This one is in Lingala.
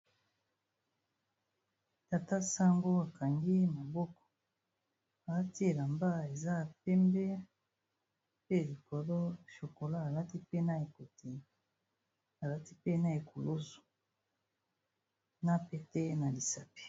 Tata sango akangi maboko alati elamba eza ya pembe pe likolo chokolat, alati mpe na ekoti alati pe na ekulusu na pete na lisapi.